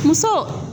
Muso